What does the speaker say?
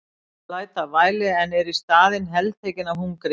Ég læt af væli en er í staðinn heltekinn af hungri.